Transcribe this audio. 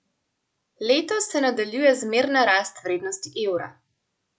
Letos se nadaljuje zmerna rast vrednosti evra.